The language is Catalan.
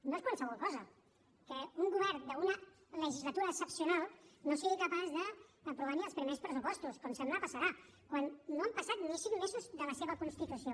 no és qualsevol cosa que un govern d’una legislatura excepcional no sigui capaç d’aprovar ni els primers pressupostos com sembla que passarà quan no han passat ni cinc mesos de la seva constitució